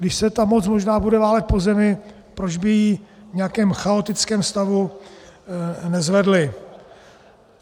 Když se ta moc možná bude válet po zemi, proč by ji v nějakém chaotickém stavu nezvedli.